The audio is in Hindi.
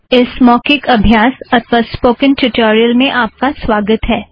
इस मौखिक अभ्यास अथ्वा स्पोकन ट्युटोरियल में आप का स्वागत है